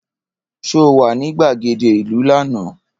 Ṣé o wà ní gbàgede ìlú lánàá?